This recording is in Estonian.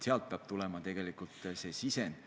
Sealt peab tegelikult see sisend tulema.